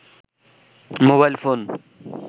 mobile phone